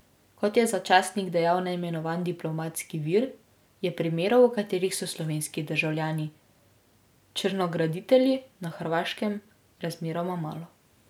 Kot je za časnik dejal neimenovani diplomatski vir, je primerov, v katerih so slovenski državljani črnograditelji, na Hrvaškem razmeroma malo.